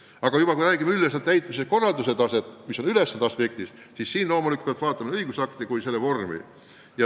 Aga kui räägime avalike ülesannete üldise täitmise korralduse tasemest, siis loomulikult peab vaatama ka nii õigusakte kui nende vormi.